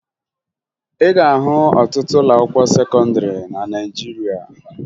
Ị ga-ahụ ọtụtụ ụlọakwụkwọ sekọndịrị na Naịjirịa